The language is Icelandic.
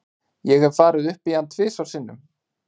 Ég hef farið upp í hann tvisvar sinnum.